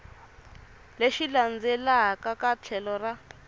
lexi landzelaka eka tlhelo ra